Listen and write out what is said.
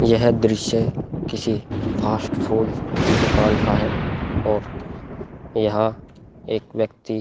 यह दृश्य किसी फ़ास्ट फ़ूड की दुकान का है और यहाँ एक व्यक्ति --